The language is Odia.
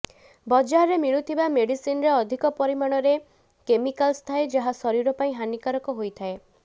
ବଜାରରେ ମିଳୁଥିବା ମେଡିସିନରେ ଅଧିକ ପରିମାଣରେ କେମିକାଲସ ଥାଏ ଯାହା ଶରୀର ପାଇଁ ହାନିକାରକ ହୋଇଥାଏ